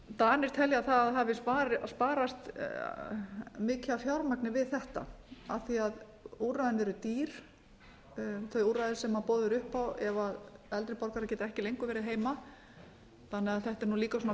danir telja að það hafi sparast mikið af fjármagni við þetta af því úrræðin eru dýr þau úrræði sem boðið er upp á ef eldri borgarar geta ekki lengur verið heima þannig að þetta er líka svona